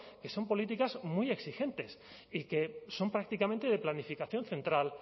que son políticas muy exigentes y que son prácticamente de planificación central